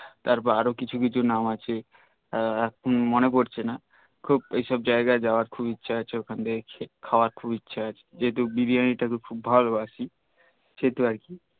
তারপর আরও কিছু কিছু নাম আছে মনে পরছে না সেসব জাইগাই জাওয়ার খুব ইছহে আছে ওখানে খাওয়ার খুব ইছহে আছে যেহেতু বিরিয়ানি টা খুব ভালবাসি খেতে আরকি